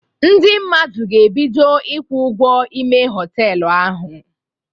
Ndị mmadụ ga-ebido ịkwụ ụgwọ ime họtelu ahụ